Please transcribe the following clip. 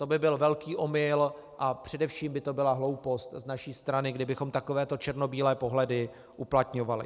To by byl velký omyl a především by to byla hloupost z naší strany, kdybychom takovéto černobílé pohledy uplatňovali.